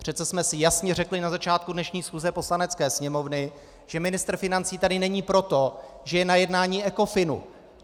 Přece jsme si jasně řekli na začátku dnešní schůze Poslanecké sněmovny, že ministr financí tady není proto, že je na jednání Ecofinu.